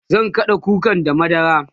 zan kaɗa kukan da madara